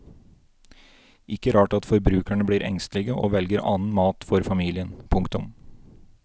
Ikke rart at forbrukerne blir engstelige og velger annen mat for familien. punktum